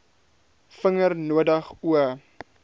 vinger nodig o